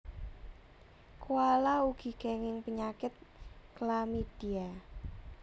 Koala ugi kenging penyakit chlamydia